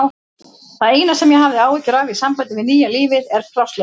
Það eina sem ég hef áhyggjur af í sambandi við nýja lífið er plássleysi.